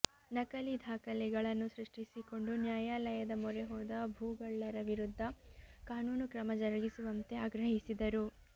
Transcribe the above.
ನಕಲಿ ದಾಖಲೆಗಳನ್ನು ಸೃಷ್ಟಿಸಿಕೊಂಡು ನ್ಯಾಯಾಲಯದ ಮೊರೆಹೋದ ಭೂಗಳ್ಳರ ವಿರುದ್ಧ ಕಾನೂನು ಕ್ರಮ ಜರಗಿಸುವಂತೆ ಆಗ್ರಹಿಸಿದರು